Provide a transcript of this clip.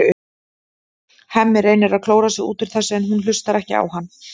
Hemmi reynir að klóra sig út úr þessu en hún hlustar ekki á hann.